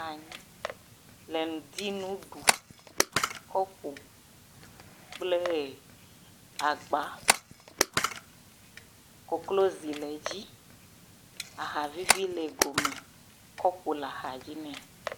Anyi le ŋdi nu ɖu. kɔpo kplee agba. Koklozi le edzi. Ahavivi le gome. Kɔpo le axadzi nɛ.